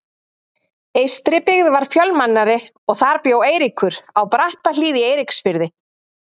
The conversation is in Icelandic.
Eystribyggð var fjölmennari og þar bjó Eiríkur, á Brattahlíð í Eiríksfirði.